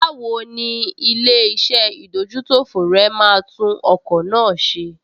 Báwo ni ilé-iṣẹ́ ìdójútòfò rẹ máa tún ọkọ̀ náà ṣe?